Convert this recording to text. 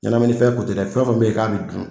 Ɲanaminifɛn ko tɛ dɛ fɛn fɛn bɛ ye k'a bɛ dun.